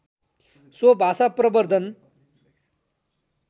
so भाषा प्रवर्द्धन